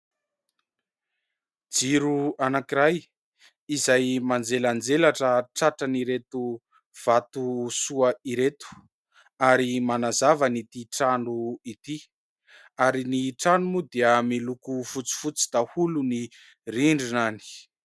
Jiro anankiray izay manjelanjelatra tratran'ireto vatosoa ireto, ary manazava an'ity trano ity. Ary ny trano moa dia miloko fotsifotsy daholo ny rindriny.